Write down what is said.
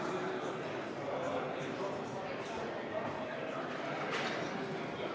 Austatud Riigikogu!